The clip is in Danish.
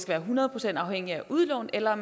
være hundrede procent afhængigt af udlån eller